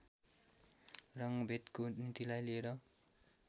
रङ्गभेदको नीतिलाई लिएर